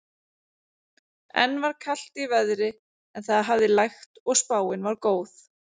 Enn var kalt í veðri en það hafði lægt og spáin var góð.